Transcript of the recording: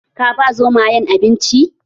Ka ba Zomayen abinci?